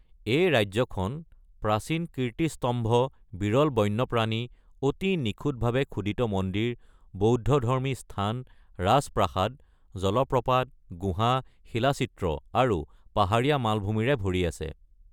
এই ৰাজ্যখন প্ৰাচীন কীৰ্তিস্তম্ভ, বিৰল বন্যপ্ৰাণী, অতি নিখুঁতভাৱে খোদিত মন্দিৰ, বৌদ্ধধৰ্মী স্থান, ৰাজপ্ৰাসাদ, জলপ্ৰপাত, গুহা, শিলাচিত্ৰ, আৰু পাহাৰীয়া মালভূমিৰে ভৰি আছে।